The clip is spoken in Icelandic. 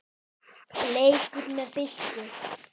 Leikur með Fylki.